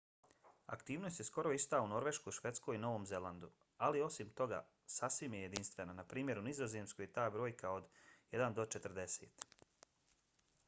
aktivnost je skoro ista u norveškoj švedskoj i novom zelandu ali osim toga sasvim je jedinstvena npr. u nizozemskoj je ta brojka od jedan do četrdeset